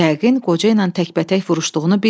Yəqin qoca ilə təkbətək vuruşduğunu bilmir.